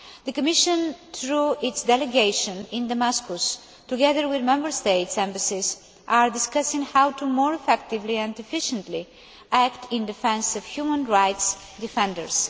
The Commission, through its delegation in Damascus, together with Member States' embassies, are discussing how to more effectively and efficiently act in defence of human rights' defenders.